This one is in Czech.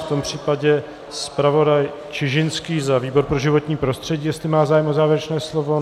V tom případě zpravodaj Čižinský za výbor pro životní prostředí, jestli má zájem o závěrečné slovo.